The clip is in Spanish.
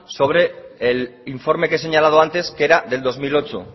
sobre el informe que he señalado antes que era del dos mil ocho